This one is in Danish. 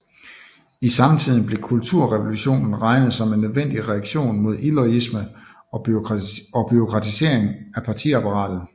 I samtiden blev kulturrevolutionen regnet som en nødvendig reaktion mod iloyalisme og bureaukratisering af partiapparatet